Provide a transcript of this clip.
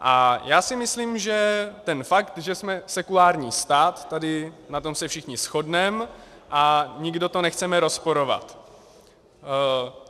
A já si myslím, že ten fakt, že jsme sekulární stát, tady na tom se všichni shodneme a nikdo to nechceme rozporovat.